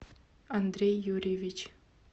андрей юрьевич